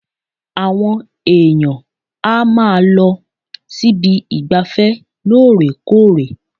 Àwọn èèyàn á máa lọ síbi ìgbafẹ́ lóòrèkóòrè